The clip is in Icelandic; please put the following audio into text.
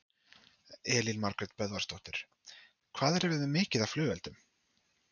Elín Margrét Böðvarsdóttir: Hvað erum við með mikið af af flugeldum?